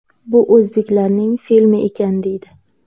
Bu o‘zbeklarning filmi ekan deydi.